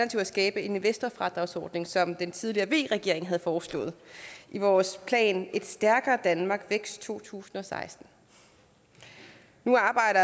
skabe en investorfradragsordning som den tidligere v regering havde foreslået i vores plan et stærkere danmark vækst to tusind og seksten nu arbejder